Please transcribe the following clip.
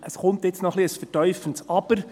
Es kommt jetzt noch ein etwas vertiefendes Aber.